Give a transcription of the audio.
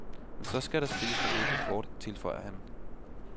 Men så skal der spilles med åbne kort, tilføjer han.